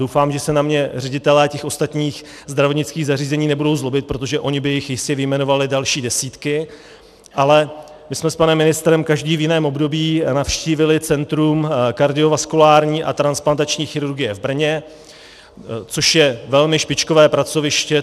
Doufám, že se na mě ředitelé těch ostatních zdravotnických zařízení nebudou zlobit, protože oni by jich jistě vyjmenovali další desítky, ale my jsme s panem ministrem každý v jiném období navštívili Centrum kardiovaskulární a transplantační chirurgie v Brně, což je velmi špičkové pracoviště.